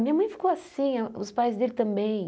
Minha mãe ficou assim, os pais dele também.